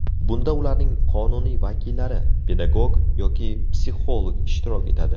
Bunda ularning qonuniy vakillari, pedagog yoki psixolog ishtirok etadi.